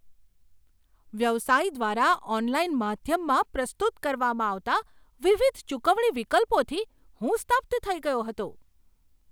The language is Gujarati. વ્યવસાય દ્વારા ઓનલાઇન માધ્યમમાં પ્રસ્તુત કરવામાં આવતા વિવિધ ચુકવણી વિકલ્પોથી હું સ્તબ્ધ થઈ ગયો હતો.